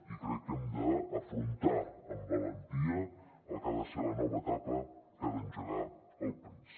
i crec que hem d’afrontar amb valentia el que ha de ser la nova etapa que ha d’engegar el país